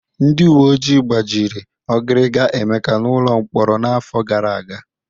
Ndị uwe ojii gbajiri ọgiriga Emeka n'ụlọ mkpọrọ n'afọ gara aga.